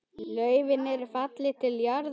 Laufin eru fallin til jarðar.